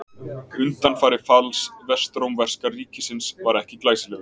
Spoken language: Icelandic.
Undanfari falls vestrómverska ríkisins var ekki glæsilegur.